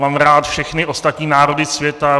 Mám rád všechny ostatní národy světa.